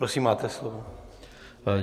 Prosím máte slovo.